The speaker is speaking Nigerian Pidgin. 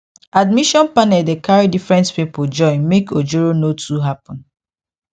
admission panel dey carry different people join make ojoro no too happen